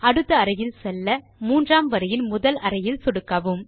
அடுத்த அறை செல்ல மூன்றாம் வரியின் முதல் அறையில் சொடுக்கவும்